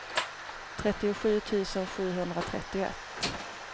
trettiosju tusen sjuhundratrettioett